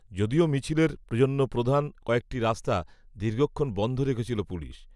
যদিও মিছিলের জন্য প্রধান কয়েকটি রাস্তা, দীর্ঘক্ষণ বন্ধ রেখেছিল পুলিশ